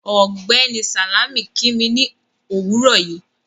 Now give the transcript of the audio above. Ọgbẹ́ni Salámì kí mí ni owúrọ̀ yìí